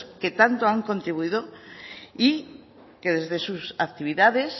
que tanto han contribuido y que desde sus actividades